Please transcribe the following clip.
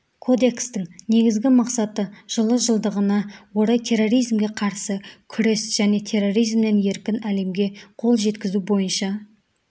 кодекстің негізгі мақсаты жылы жылдығына орай терроризмге қарсы күрес және терроризмнен еркін әлемге қол жеткізу бойынша